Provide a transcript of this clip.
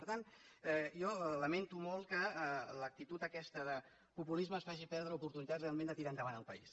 per tant jo lamento molt que l’actitud aquesta de populisme ens faci perdre oportunitats realment de tirar endavant el país